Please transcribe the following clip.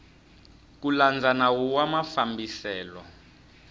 ku landza nawu wa mafambiselo